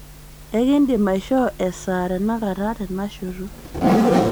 ekindim aishoo esaa tenakata tenashoto